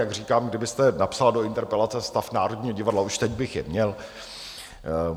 Jak říkám, kdybyste napsala do interpelace: Stav Národního divadla, už teď bych je měl.